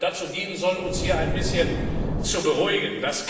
dazu dienen soll, uns hier ein bisschen zu beruhigen.